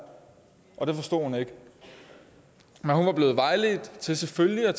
og det forstod hun ikke men hun var blevet vejledt til selvfølgelig at